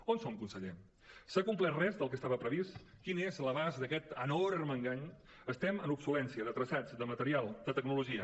on som conseller s’ha complert res del que estava previst quin és l’abast d’aquest enorme engany estem en obsolescència de traçats de material de tecnologia